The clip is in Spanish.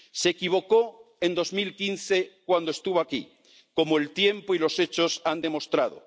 Se equivocó en 2015 cuando estuvo aquí, como el tiempo y los hechos han demostrado.